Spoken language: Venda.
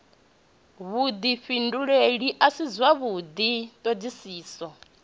vhudifhinduleli a si zwavhudi thodisiso